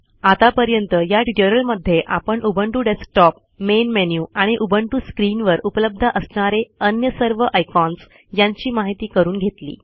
आतापर्यंत या ट्युटोरियलमध्ये आपण उबंटू डेस्कटॉप मेन मेनू आणि उबंटू स्क्रिनवर उपलब्ध असणारे अन्य सर्व आयकॉन्स यांची माहिती करुन घेतली